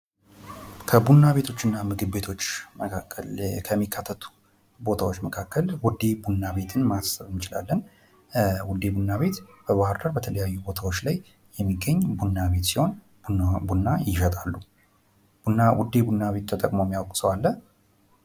ከቡና ቤቶች እና ምግብ ቤቶች መካክል ዉዴ ቡና ቤትን ማሰብ እንችላለን። ዉዴ ቡና ቤት በባህር ዳር በተለያዩ ቦታዎች ላይ የሚገኝ ቡና ቤት ሲሆን ቡናዋም አሪፍ ቡና ይሸጣሉ። ዉዴ ቡና ቤትን የሚያውቅ ሰው አለ?